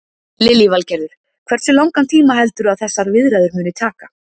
Lillý Valgerður: Hversu langan tíma heldurðu að þessar viðræður muni taka?